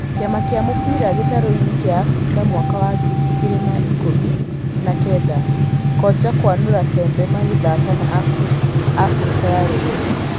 Kĩama kĩa Mũbira gĩtarũinĩ kĩa Afirika mwaka wa ngiri igĩrĩ na ikũmi na kenda: Konja kũanũra Pembe magĩthaka na Afirika ya rũgũrũ.